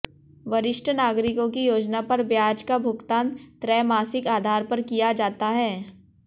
वरिष्ठ नागरिकों की योजना पर ब्याज का भुगतान त्रैमासिक आधार पर किया जाता है